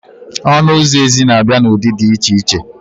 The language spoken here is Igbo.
Ọnụ ụzọ ezi na abịa na ụdị dị iche iche